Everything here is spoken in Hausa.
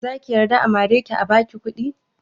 Zaki yarda a mare ki a baki kuɗi?